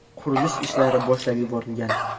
Qurilish ishlari boshlab yuborilgan.